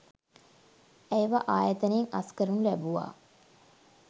ඇයව ආයතනයෙන් අස් කරනු ලැබුවා.